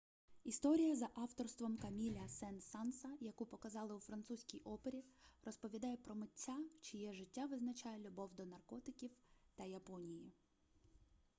історія за авторством каміля сен-санса яку показали у французькій опері розповідає про митця чиє життя визначає любов до наркотиків та японії